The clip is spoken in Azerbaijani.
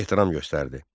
Ehtiram göstərdi.